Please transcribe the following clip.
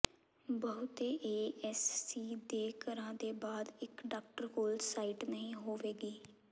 ਬਹੁਤੇ AS C ਦੇ ਘਰਾਂ ਦੇ ਬਾਅਦ ਇੱਕ ਡਾਕਟਰ ਕੋਲ ਸਾਈਟ ਨਹੀਂ ਹੋਵੇਗੀ